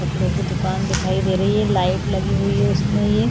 कपड़ो की दुकान दिखाई दे रही है लाइट लगी हुई उस मे--